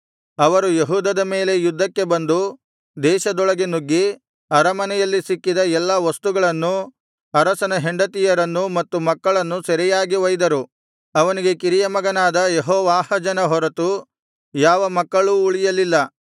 ಅವರು ಯೆಹೂದದ ಮೇಲೆ ಯುದ್ಧಕ್ಕೆ ಬಂದು ದೇಶದೊಳಗೆ ನುಗ್ಗಿ ಅರಮನೆಯಲ್ಲಿ ಸಿಕ್ಕಿದ ಎಲ್ಲಾ ವಸ್ತುಗಳನ್ನೂ ಅರಸನ ಹೆಂಡತಿಯರನ್ನೂ ಮತ್ತು ಮಕ್ಕಳನ್ನೂ ಸೆರೆಯಾಗಿ ಒಯ್ದರು ಅವನಿಗೆ ಕಿರಿಯ ಮಗನಾದ ಯೆಹೋವಾಹಾಜನ ಹೊರತು ಯಾವ ಮಕ್ಕಳೂ ಉಳಿಯಲಿಲ್ಲ